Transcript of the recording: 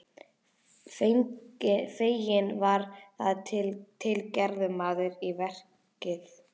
Fenginn var þar til gerður maður í verkið.